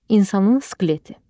İnsanın skeleti.